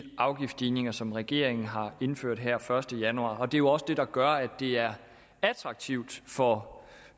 afgiftsstigninger som regeringen har indført her første januar og det er jo også det der gør at det er attraktivt for